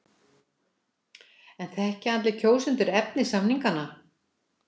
En þekkja allir kjósendur efni samninganna?